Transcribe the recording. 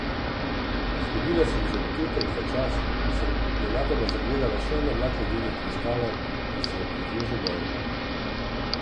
Izgubila sem že občutek za čas, ko sem nenadoma zagledala še en oblak ledenih kristalov, ki se je pridružil mojemu.